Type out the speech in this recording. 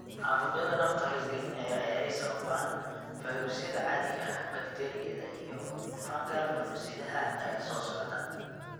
Caabuqyada nafta halis gelinaya ee ay sababaan fayruusyada caadiga ah, bakteeriyada, iyo fungal cudur-sidaha ayaa soo socda.